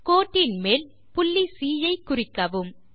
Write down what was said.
கோட்டின் மேல் புள்ளி சி குறிக்கவும்